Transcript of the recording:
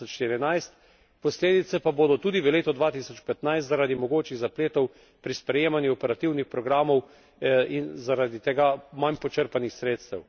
2014. Posledice pa bodo tudi v letu 2015 zaradi mogočih zapletov pri sprejemanju operativnih programov in zaradi tega manj počrpanih sredstev.